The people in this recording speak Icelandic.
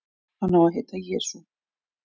Hann á að heita Jesú.